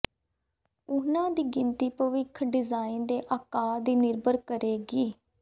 ਉਨ੍ਹਾਂ ਦੀ ਗਿਣਤੀ ਭਵਿੱਖ ਦੇ ਡਿਜ਼ਾਇਨ ਦੇ ਆਕਾਰ ਤੇ ਨਿਰਭਰ ਕਰੇਗੀ